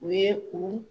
U ye u